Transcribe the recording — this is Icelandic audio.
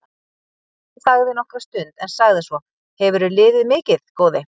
Daði þagði nokkra stund en sagði svo:-Hefurðu liðið mikið, góði?